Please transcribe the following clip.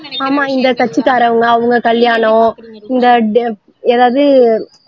ஆமா இந்த கட்சிக்காறவுங்க அவங்க கல்யாணம் இந்த எதாவது